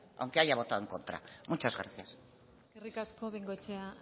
aunque haya votado en contra muchas gracias eskerrik asko bengoechea